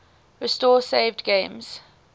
restore saved games